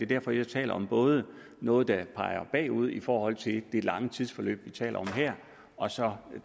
derfor jeg taler om både noget der peger bagud i forhold til det lange tidsforløb vi taler om her og så